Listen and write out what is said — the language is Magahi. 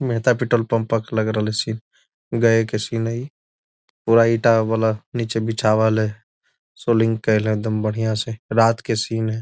मेहता पेट्रोल पंप लग रहलो छी गया के सीन है इ पूरा ईटा वाला बीछवाल है सोल्डिंग कइल है एकदम बढियाँ से रात के सीन है।